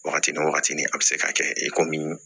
Wagati ni wagati ni a bɛ se ka kɛ i komi